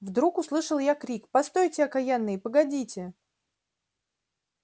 вдруг услышал я крик постойте окаянные погодите